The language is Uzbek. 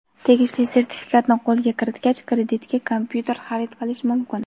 tegishli sertifikatni qo‘lga kiritgach kreditga kompyuter xarid qilish mumkin.